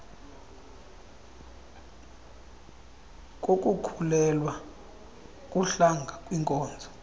kukukhulelwa kuhlanga kwinkolo